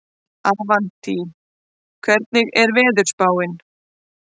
Avantí, hvernig er veðurspáin?